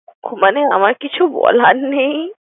মানে আমার কিছু বলার নেই।